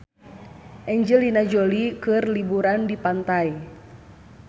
Angelina Jolie keur liburan di pantai